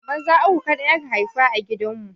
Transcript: Maza uku kaɗai aka haifa a gidan mu